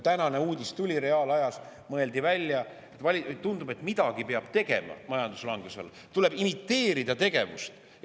Täna tuli uudis reaalajas: tundub, et midagi peab majanduslanguse tõttu tegema, tuleb imiteerida tegevust, ja mõeldi välja.